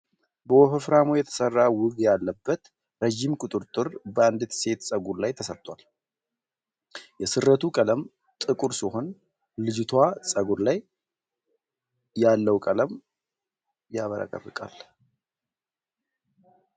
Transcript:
በወፈፍራሙ የተሰራ ዊግ ያለበት ረጅም ቁጥርጥር በአንዲት ሴት ጸጉር ላይ ተሰርቷል። የስሬቱ ቀለም ጥቁር ሲሆን ልጅቷ ጸጉር ላይ ያለው ቀለም ያብረቀርቃል።